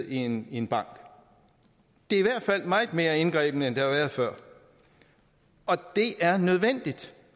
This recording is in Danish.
i en en bank det er i hvert fald meget mere indgribende end det har været før og det er nødvendigt